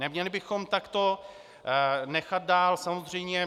Neměli bychom takto nechat dál, samozřejmě.